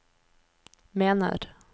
mener